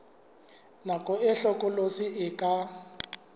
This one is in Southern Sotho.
nako e hlokolosi e ka